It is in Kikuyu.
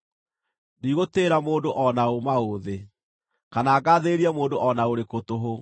Ndigũtĩĩra mũndũ o na ũ maũthĩ, kana ngaathĩrĩrie mũndũ o na ũrĩkũ tũhũ;